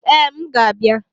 Ee, m ga-abịa